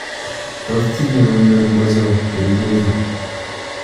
Tos tinye uinwek ochoon kerichechi.